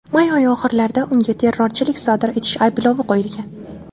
May oyi oxirlarida unga terrorchilik sodir etish ayblovi qo‘yilgan.